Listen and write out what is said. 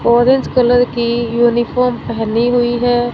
Orange colour की uniform पहनी हुई है।